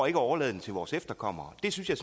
at overlade den til vores efterkommere det synes jeg